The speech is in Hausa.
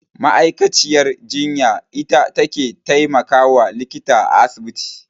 Ma'aikaciyar jinya ita take taimakawa likita a asibiti.